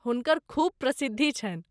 हुनकर खूब प्रसिद्धि छनि।